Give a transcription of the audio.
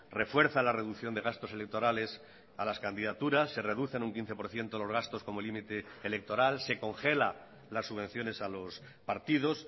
refuerza la reducción de gastos electorales a las candidaturas se reducen un quince por ciento los gastos como límite electoral se congela las subvenciones a los partidos